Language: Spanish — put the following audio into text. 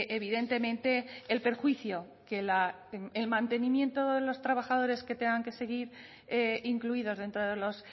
evidentemente el perjuicio que el mantenimiento de los trabajadores que tengan que seguir incluidos dentro de los